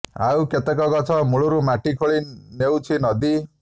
ଆଉ କେତେକ ଗଛ ମୂଳରୁ ମାଟି ଖୋଳି ନେଉଛି ନଦୀ